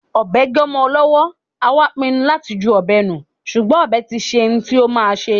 Ọbẹ gé ọmọ lọwọ, a wá pínnú lati jú ọbẹ nù, ṣùgbọ́n ọbẹ tiṣé ń tí o má ṣé.